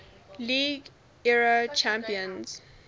league era champions